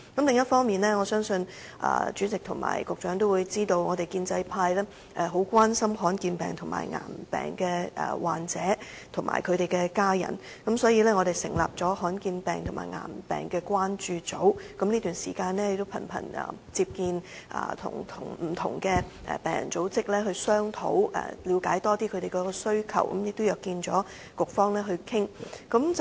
另一方面，我相信主席和局長皆知道，我們建制派十分關心罕見疾病和癌病患者及其親屬，所以我們成立了罕見病癌病關注組，這段時間頻頻與不同病人組織商討，以了解他們的需要，並且約見局方討論。